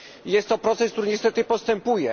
Jest to proces, który niestety postępuje.